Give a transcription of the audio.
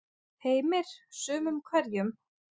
Heimir: Sumum hverjum?